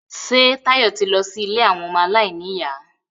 Ṣé Táyọ̀ ti lọ sí ilé àwọn ọmọ aláìníyà?